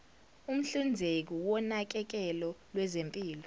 umhlinzeki wonakekelo lwezempilo